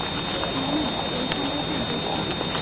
মনে হচ্ছে ওইখানটা ঠিক দেখিনি